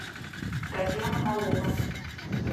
татьяна малова